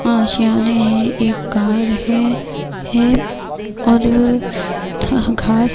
آشیانے ہے ایک کار ہے ہے اور وو گھاس--